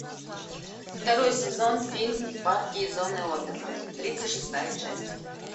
второй сезон фильм парки и зоны отдыха тридцать шестая часть